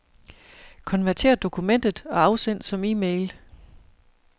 Konvertér dokumentet og afsend som e-mail.